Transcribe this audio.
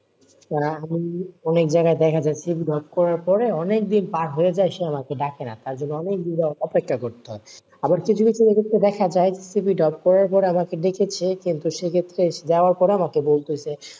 অনেক জায়গায় দেখা যাচ্ছে যে CV drop করার পরে অনেকদিন পর হয়ে যায় সে আমাকে ডাকে না, তোই জন্য অনেক দিন অপেক্ষা করতে হয়, আবার কিছু কিছু ক্ষেত্রে দেখা যায় যে CV drop করার পরে আমাকে দেখেছে কিন্তু সেক্ষেত্রে যাওয়ার পর আমাকে বলছে,